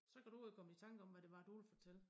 Så kan du jo komme i tanke om hvad det var du ville fortælle